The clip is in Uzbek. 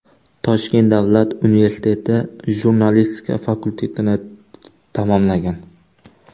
Toshkent Davlat universiteti jurnalistika fakultetini tamomlagan.